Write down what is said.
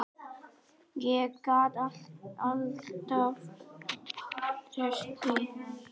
Ég gat alltaf treyst því.